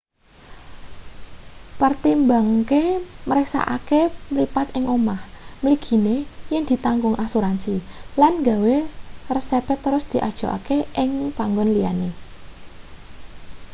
pertimbangke mriksakake mripat ing omah mligine yen ditanggung asuransi lan nggawa resepe terus diajokake ing panggon liyane